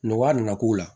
Nɔgɔya nana k'u la